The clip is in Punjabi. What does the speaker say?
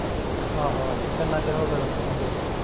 ਆਹੋ ਆਹੋ ਤੇ ਕਿੰਨਾ ਚਿਰ ਹੋਗਿਆ ਲਕੀ ਨੂੰ ਗਏ ਨੂੰ